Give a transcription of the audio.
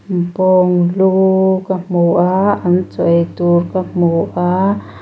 bawng lu ka hmu a an chaw ei tur ka hmu a.